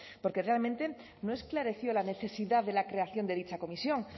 porque realmente no esclareció la necesidad de la creación de dicha comisión